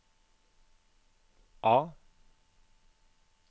A